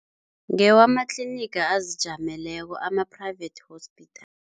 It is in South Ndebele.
Ngewamatliniga azijameleko, ama-private hospital.